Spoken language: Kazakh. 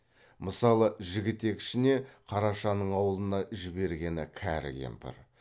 мысалы жігітек ішіне қарашаның аулына жібергені кәрі кемпір